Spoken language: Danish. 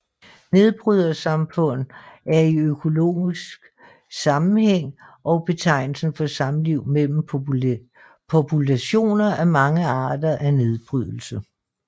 Nedbrydersamfund er i økologisk sammenhæng betegnelsen for samliv mellem populationer af mange arter af nedbrydere